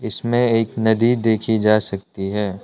इसमें एक नदी देखी जा सकती है।